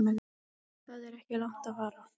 Það er ekki langt að fara.